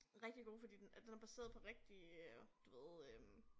Rigtig god fordi den at den er baseret på rigtige øh du ved øh